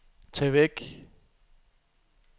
tag væk